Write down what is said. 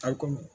Taa komi